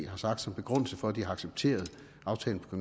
har sagt som begrundelse for at de har accepteret aftalen på